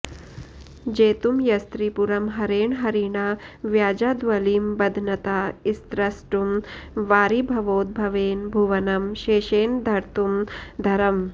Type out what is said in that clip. जेतुं यस्त्रिपुरं हरेण हरिणा व्याजाद्वलिं बध्नता स्त्रष्टुं वारिभवोद्भवेन भुवनं शेषेण धर्तुं धरम्